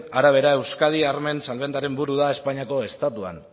arabera euskadi armen salmentaren buru da espainiako estatuan